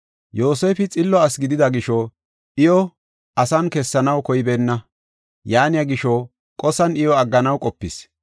Yoosefi Xillo asi gidida gisho iyo asan kessanaw koybeenna. Yaaniya gisho qosan iyo agganaw qopis.